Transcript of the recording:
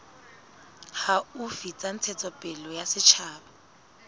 haufi tsa ntshetsopele ya setjhaba